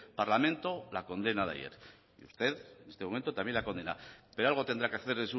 parlamento la condena de ayer y usted en este momento también la condena pero algo tendrá que hacer